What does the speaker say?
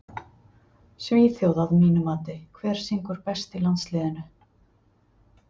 Svíþjóð að mínu mati Hver syngur best í landsliðinu?